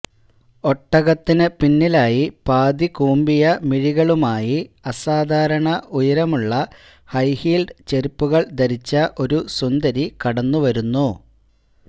ഒട്ടകത്തിനു പിന്നിലായി പാതികൂമ്പിയ മിഴികളുമായി അസാധാരണ ഉയരമുള്ള ഹൈഹീല്ഡ് ചെരുപ്പുകള് ധരിച്ച ഒരു സുന്ദരി കടന്നുവരുന്നു